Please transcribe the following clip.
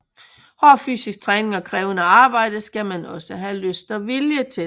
Hård fysisk træning og krævende arbejde skal man også have lyst og vilje til